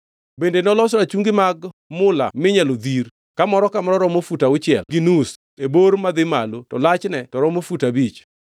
Bende noloso rachungi apar mag mula minyalo dhir; ka moro ka moro romo fut auchiel gi nus e bor madhi malo to lachne to romo fut abich.